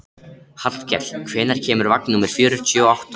Hallkell, hvenær kemur vagn númer fjörutíu og átta?